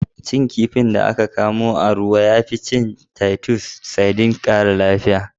Cin kifin da aka kamo a ruwa, ya fi cin titus sardines ƙara lafiya.